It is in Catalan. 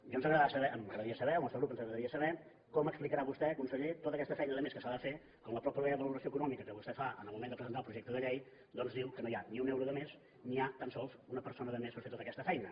ja ens agradarà saber m’agradaria saber al nostre grup ens agradaria saber com explicarà vostè conseller tota aquesta feina de més que s’ha de fer quan en la mateixa valoració econòmica que vostè fa en el moment de presentar el projecte de llei doncs diu que no hi ha ni un euro de més ni hi ha tan sols una persona de més per fer tota aquesta feina